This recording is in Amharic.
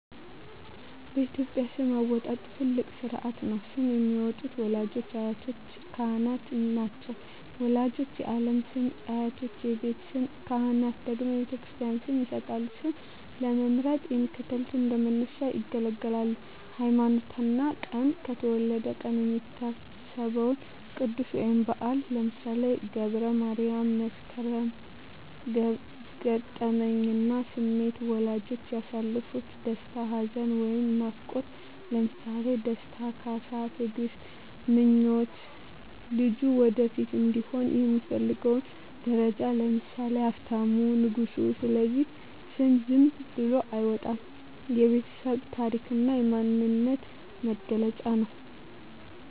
በኢትዮጵያ ስም አወጣጥ ትልቅ ሥርዓት ነው። ስም የሚያወጡት ወላጆች፣ አያቶችና ካህናት ናቸው። ወላጆች የዓለም ስም፣ አያቶች የቤት ስም፣ ካህናት ደግሞ የክርስትና ስም ይሰጣሉ። ስም ለመምረጥ የሚከተሉት እንደ መነሻ ያገለግላሉ 1)ሃይማኖትና ቀን የተወለደበት ቀን የሚታሰበው ቅዱስ ወይም በዓል (ለምሳሌ ገብረ ማርያም፣ መስከረም)። 2)ገጠመኝና ስሜት ወላጆች ያሳለፉት ደስታ፣ ሐዘን ወይም ናፍቆት (ለምሳሌ ደስታ፣ ካሳ፣ ትግስት)። 3)ምኞት ልጁ ወደፊት እንዲሆን የሚፈለገው ደረጃ (ለምሳሌ ሀብታሙ፣ ንጉሱ)። ስለዚህ ስም ዝም ብሎ አይወጣም፤ የቤተሰብ ታሪክና የማንነት መገለጫ ነው።